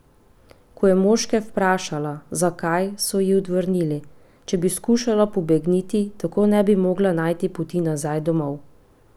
Ko je moške vprašala, zakaj, so ji odvrnili: 'če bi skušala pobegniti, tako ne bi mogla najti poti nazaj domov'.